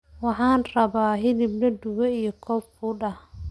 waxaan rabba hilib la dube iyo koob fuud ahh